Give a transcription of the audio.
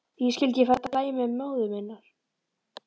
Hví skyldi ég fara að dæmi móður minnar?